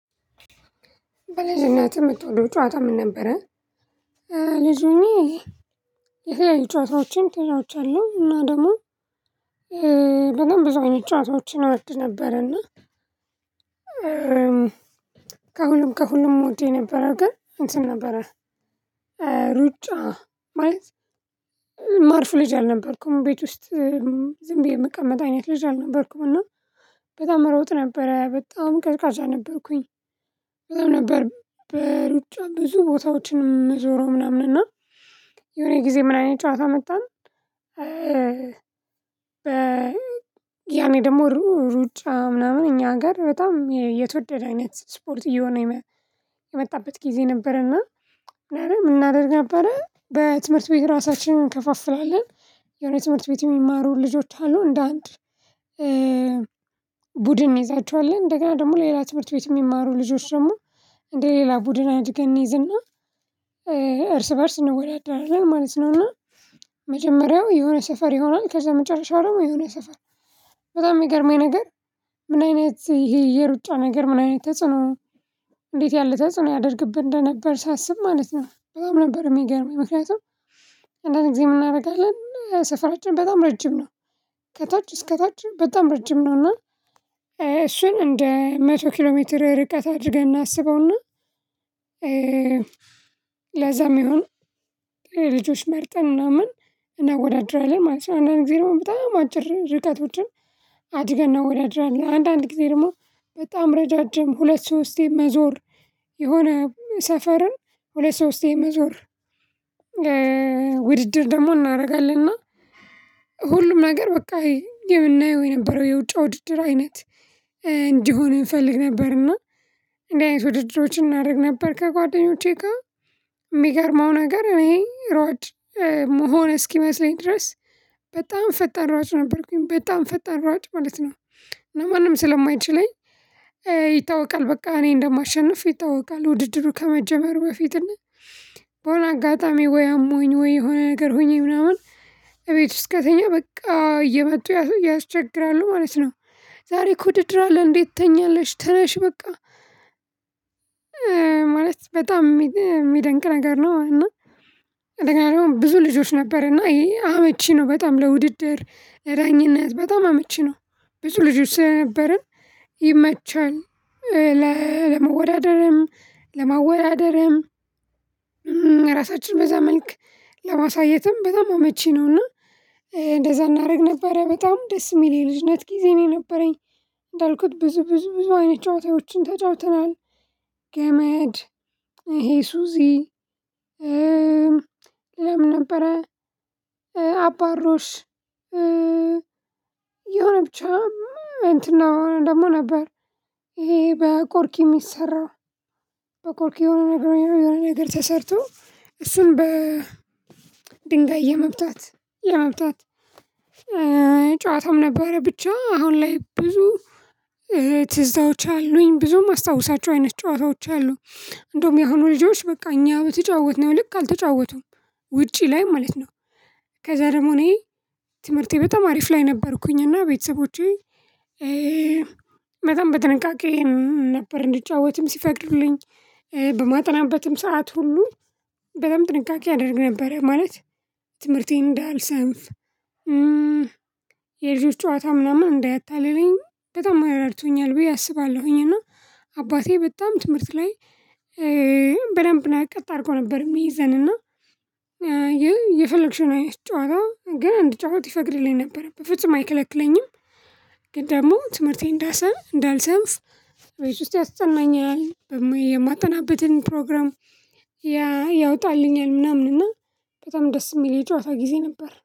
በልጂነትህ እምትወደው ጨዋታ ምን ነበረ? ልጅ ሆኜ የተለያዩ ጨዋታዎችን ተጫውቻለሁ እና ደግሞ በጣም ብዙ ጨዋታዎችን እወድ ነበር። እና ከሁሉም ከሁሉም እምወደው የነበረው ግን እንትን ነበረ። ሩጫ ማለት እማርፍ ልጅ አልነበርኩም ቤት ውስጥ ዝም ብዬ የምቀመጥ አይነት ልጅ አልነበርኩም። እና በጣም እሮጥ ነበረ በጣም ቀዢቃዣ ነበርኩኝ። በጣም ነበር በሩጫ ብዙ ቦታዎችን እምዞረው ምናምን እና የሆነ ጊዜ ምን አይነት ጨዋታ አመጣን? ያኔ ደግሞ ሩጫ ምናምን እኛ ጋር በጣም የተወደደ አይነት ስፖርት እየሆነ የመጣበት ጊዜ ነበርና። ምን እናደርግ ነበረ በትምህርት ቤት ራሳችንን እንከፋፍላለን። የሆነ ትምህርት ቤት እሚማሩ ልጆች አሉ እንደ አንድ ቡድን እንይዛቸዋለን እንደገና ደግሞ ሌላ ትምህርት ቤት የሚማሩ ልጆች ደግሞ እንደ ሌላ ቡድን አድርገን እንይዝና እርስ በእርስ እንወዳደራለን ማለት ነው። እና መጀመሪያው የሆነ ሰፈር ይሆናል ከዛ መጨረሻው ደግሞ የሆነ ሰፈር። በጣም እሚገርመኝ ነገር ምን አይነት ይሄ የሩጫ ነገር ምን አይነት ተጽዕኖ? እንዴት ያለ ተጽዕኖ ያደርግብን እንደነበር ሳስብ ማለት ነው። በጣም ነበር የሚገርመኝ ምክንያቱም አንዳንድ ጊዜ ምን እናደርጋለን ሰፈራችን በጣም ረጅም ነው። ከታች እስከ ታች በጣም ረጅም ነውና። እሱን እንደ መቶ ኪሎ ሜትር ርቀት አድርገን እናስበውና ለዛ እሚሆን ልጆች መርጠን ምናምን እናወዳድራለን ማለት ነው። አንዳንድ ጊዜ ደግሞ በጣም አጭር ርቀትቶችን አድገን እናወዳድራለን። አንዳንድ ጊዜ ደግሞ በጣም ረዣዥም ሁለት ሶስቴን መዞር የሆነ ሰፈርን ሁለት ሶስቴን መዞር የመዞር ውድድር ደግሞ እናደርጋለን። እና ሁሉም ነገር በቃ የምናየው የነበረው የሩጫ ውድድር አይነት እንዲሆን እንፈልግ ነበርና። እንደዚህ አይነት ውድድሮች እናደርግ ነበር። ከጓደኞቼ ጋር የሚገርመው ነገር እኔ ሯጭ እምሆን እስኪመስለኝ ድረስ በጣም ፈጣን ሯጭ ነበርኩኝ በጣም ፈጣን ሯጭ ማለት ነው። ማንም ስለማይችለኝ ይታወቃል በቃ እኔ እንደማሸንፍ ይታወቃል። ውድድሩ ከመጀመሩ በፊት እና በሆነ አጋጣሚ ወይ አሞኝ ወይ የሆነ ነገር ሆኜ ምናምን እቤት ውስጥ ከተኛው በቃ እየመጡ ያስቸግራሉ ማለት ነው። ዛሬ ውድድር አለን እንዴት ትተኛለሽ? ተነሽ በቃ ማለት በጣም የሚደንቅ ነገር ነው። እና እንደገና ደግሞ ብዙ ልጆች ነበር እና ይሄ አመቺ ነው በጣም ለውድድር ለዳኝነት በጣም አመቺ ነው። ብዙ ልጆች ስለነበርን ይመቻል። ለመወዳደርም ለማወዳደርም ራሳችን በዛ መልክ ለማሳየትም በጣም አመቺ ነውና። እንደዛ እናደርግ ነበር በጣም ደስ የሚል የልጅነት ጊዜ ነው የነበረኝ። እንዳልኩት ብዙ ብዙ ብዙ አይነት ጨዋታዎችን ተጫውተናል። ገመድ ይሄ ሱዚ ሌላም ነበረ። አባሩሽ የሆነ ብቻም እንትን ነው ደግሞ ነበር። ይሄ በቆርቂ የሚሰራው በቆርቂ የሆነ ነገር የሆነ ነገር ተሰርቶ እሱን በ ድንጋይ የመምታት የመምታት ጨዋታውም ነበረ ብቻ አሁን ላይ ብዙ ትዝታዎች አሉኝ ብዙም አስታውሳቸው አይነት ጨዋታዎች አሉ። እንደውም የሆኑ ልጆች በቃ እኛ በተጫወትነው ልክ አልተጫወቱም። ውጪ ላይ ማለት ነው። ከዛ ደግሞ እኔ ትምህርቴ በጣም አሪፍ ላይ ነበርኩኝ እና ቤተሰቦቼ በጣም በጥንቃቄ ነበር። እንድጫወትም ሲፈቅድልኝ በማጠናበትም ሰዓት ሁሉ በጣም ጥንቃቄ አደርግ ነበረ። ማለት ትምህርቴን እንዳልሰንፍ የልጆች ጨዋታ ምናምን እንዳያታልለኝ በጣም እረድቶኛል ብዬ አስባለሁኝና። አባቴ በጣም ትምህርት ላይ በደንብ ነው ቀጥ አድርጎ ነበር የሚይዘን እና። የፈለግሽውን ጨዋታ ግን እንድጫወት ይፈቅድልኝ ነበር በፍጹም አይከለክለኝም። ግን ደግሞ ትምህርቴ እንዳልሰንፍ ቤት ውስጥ ያስጠናኛል። የማጠናበትን ፕሮግራም ያ ያወጣልኛል ምናምን እና በጣም ደስ እሚል የጨዋታ ጊዜ ነበር